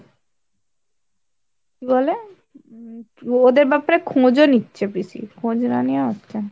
কি বলে উম ওদের ব্যাপারে খোঁজ ও নিচ্ছে পিসি খোঁজ না নিয়ে না।